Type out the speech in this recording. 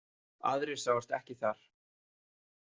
Aðrir sáust ekki þar.